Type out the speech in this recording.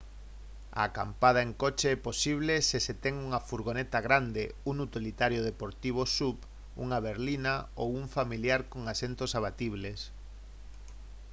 a acampada en coche é posible se se ten unha furgoneta grande un utilitario deportivo suv unha berlina ou un familiar con asentos abatibles